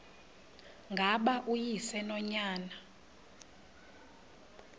ngaba uyise nonyana